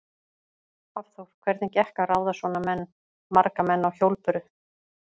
Hafþór: Hvernig gekk að ráða svona menn, marga menn á hjólbörur?